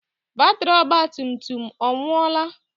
Batiri ọgba tum tum ọ nwuola?